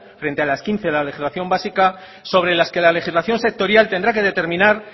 frente a las quince en la legislación básica sobre que la legislación sectorial tendrá que determinar